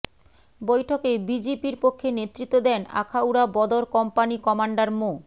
বৈঠকে বিজিবির পক্ষে নেতৃত্ব দেন আখাউড়া বদর কম্পানি কমান্ডার মো